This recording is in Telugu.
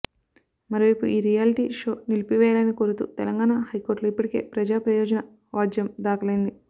మరోవైపు ఈ రియాలిటీ షో నిలిపి వేయాలని కోరుతూ తెలంగాణ హై కోర్టులో ఇప్పటికే ప్రజా ప్రయోజన వాజ్యం దాఖలైంది